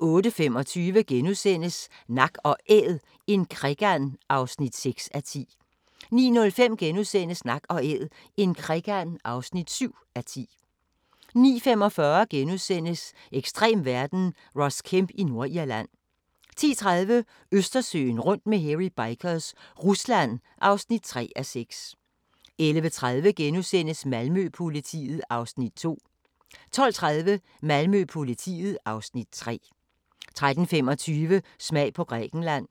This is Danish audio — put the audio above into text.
08:25: Nak & Æd – en krikand (6:10)* 09:05: Nak & Æd – en krikand (7:10)* 09:45: Ekstrem verden – Ross Kemp i Nordirland * 10:30: Østersøen rundt med Hairy Bikers – Rusland (3:6) 11:30: Malmø-politiet (Afs. 2)* 12:30: Malmø-politiet (Afs. 3) 13:25: Smag på Grækenland